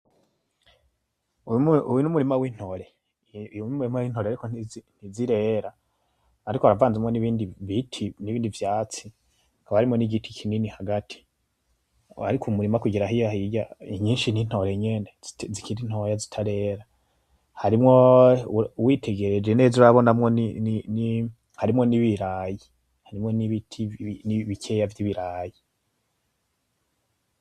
Uwo n'umurima w'intore. Uyu n'umurima w'intore ariko ntizirera ariko haravanzemwo n'ibindi biti n'ibindi vyatsi haba harimwo n'igiti kinini hagati. Ariko Umurima kugera hariya hirya nyinshi n'intore nyene zikiri ntoya zitarera. Harimwo uwitegereje neza urabonamwo ni, harimwo n'ibirayi, harimwo n'ibiti bikeya vy'ibirayi.